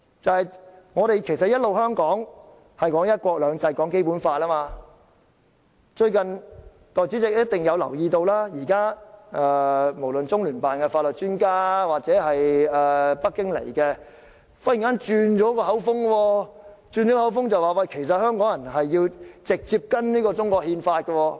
香港一直以來都強調"一國兩制"、《基本法》，但代理主席想必亦會留意到，現在無論是中聯辦的法律專家，抑或北京訪港的官員，都忽然"轉口風"，表示香港人其實應該直接遵守中國憲法。